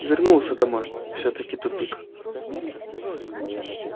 и вернулся домой всё-таки тупик